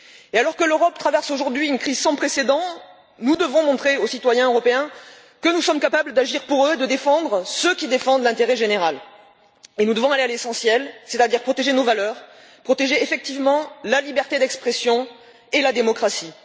Alors que l'Europe traverse aujourd'hui une crise sans précédent, nous devons montrer aux citoyens européens que nous sommes capables d'agir pour eux et de protéger ceux qui défendent l'intérêt général, et nous devons aller à l'essentiel, c'est à dire protéger nos valeurs, protéger effectivement la liberté d'expression et la démocratie.